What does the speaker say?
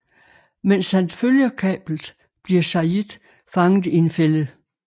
Mens han følger kablet bliver Sayid fanget i en fælde